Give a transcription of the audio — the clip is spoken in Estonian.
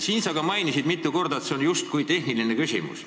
Sa ka mainisid mitu korda, et see oleks justkui tehniline küsimus.